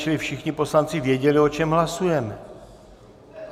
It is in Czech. Čili všichni poslanci věděli, o čem hlasujeme.